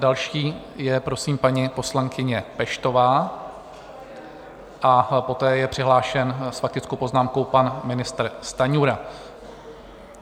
Další je prosím paní poslankyně Peštová a poté je přihlášen s faktickou poznámkou pan ministr Stanjura.